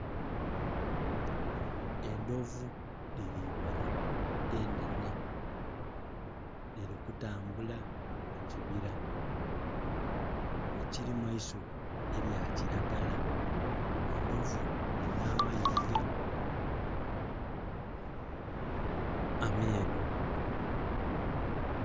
Endhovu diri ibiri enhenhe dhiri kutambula mu kibira ekirimu eisubi erya kiragala. Endhovu dirinha amayiga ameeru.